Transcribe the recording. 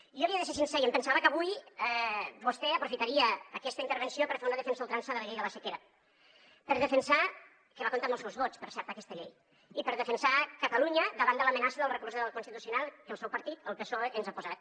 jo li he de ser sincer i em pensava que avui vostè aprofitaria aquesta intervenció per fer una defensa a ultrança de la llei de la sequera que va comptar amb els seus vots per cert aquesta llei i per defensar catalunya davant de l’amenaça del recurs del constitucional que el seu partit el psoe ens ha posat